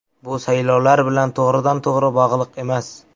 Bu saylovlar bilan to‘g‘ridan-to‘g‘ri bog‘liq emas.